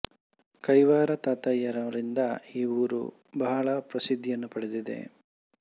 ಕೈವಾರ ತಾತಯ್ಯ ನವರಿಂದ ಈ ಊರು ಬಹಳ ಪ್ರಸಿದ್ದಿಯನ್ನು ಪಡೆದಿದೆ